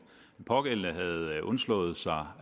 pågældende havde undslået sig